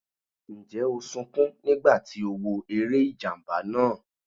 Ǹjẹ́ o sunkún nígbà tí o wo eré ìjàmbá náà?